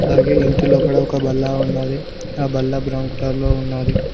అలాగే ఇంటి లోపల ఒక బల్ల ఉన్నది ఆ బల్ల బ్రౌన్ కలర్ లో ఉన్నది.